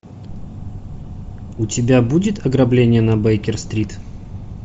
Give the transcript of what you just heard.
у тебя будет ограбление на бейкер стрит